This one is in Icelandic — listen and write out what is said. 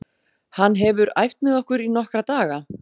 Hann hefur æft með okkur í nokkra daga.